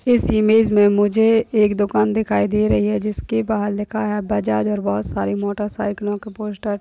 इस इमेज मे मुझे एक दुकान दिखाई दे रही है। जिसके बाहर लिखा है बजाज और बहुत सारी मोटरसाइकलों के पोस्टर --